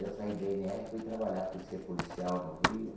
Eu saí da i ene erre, fui trabalhar, fui ser policial no Rio.